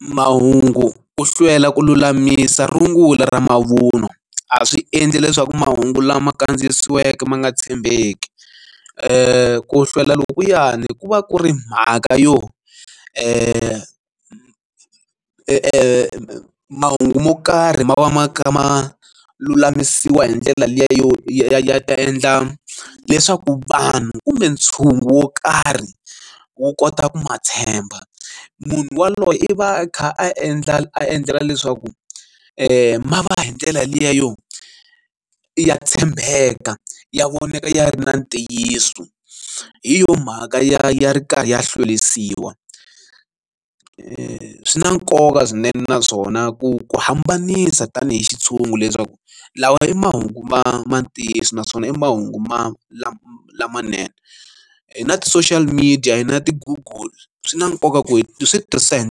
mahungu ku hlwela ku lulamisa rungula ra mavun'wa a swi endli leswaku mahungu lama kandziyisiweke ma nga tshembeki ku hlwela loku yani ku va ku ri mhaka yo e e mahungu mo karhi ma va ma kha ma lulamisiwa hi ndlela liya yo ya ta endla leswaku vanhu kumbe ntshungu wo karhi wo kota ku ma tshemba munhu yaloye i va a kha a endla a endlela leswaku mara hi ndlela liya yo ya tshembeka ya vonaka ya ri na ntiyiso hi yo mhaka ya ri karhi ya hlwelisiwi swi na nkoka swinene naswona ku ku hambanisa tanihi xi ntshungu leswaku lawa i mahungu ma ma ntiyiso naswona i mahungu ma lama lamanene hi na ti social media hi na ti google swi na nkoka ku hi switirhisa hi.